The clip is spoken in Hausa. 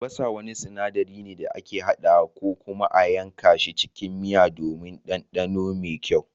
Albasa wani sinaɗari ne da ake hadawa ko kuma a yanka shi cikin miya don ɗanɗano mai kyau